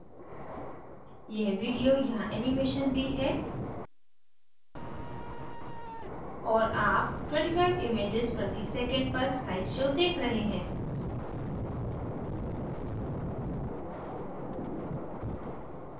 यह video यहाँ animation भी है और आप 25 images प्रति second पर slide show देख रहे हैं